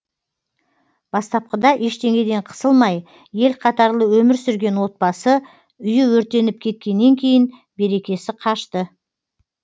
бастапқыда ештеңеден қысылмай ел қатарлы өмір сүрген отбасы үйі өртеніп кеткеннен кейін берекесі қашты